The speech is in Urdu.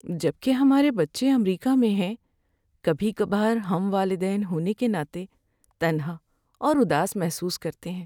جبکہ ہمارے بچے امریکہ میں ہیں، کبھی کبھار ہم والدین ہونے کے ناطے تنہا اور اداس محسوس کرتے ہیں۔